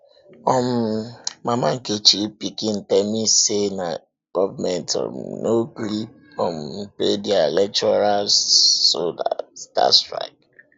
um mama nkechi pikin tell me say government um no gree um pay their lecturers so dey start strike